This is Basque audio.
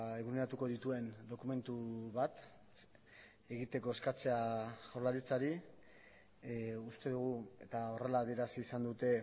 eguneratuko dituen dokumentu bat egiteko eskatzea jaurlaritzari uste dugu eta horrela adierazi izan dute